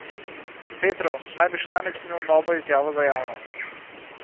Petrov naj bi še danes imel novo izjavo za javnost.